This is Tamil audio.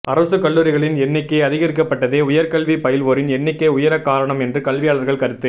அரசுக் கல்லூரிகளின் எண்ணிக்கை அதிகரிக்கப்பட்டதே உயர்கல்வி பயில்வோரின் எண்ணிக்கை உயர காரணம் என்று கல்வியாளர்கள் கருத்து